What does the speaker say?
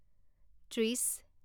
ত্ৰিছ